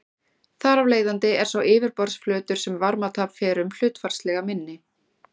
Þar af leiðandi er sá yfirborðsflötur sem varmatap fer um hlutfallslega minni.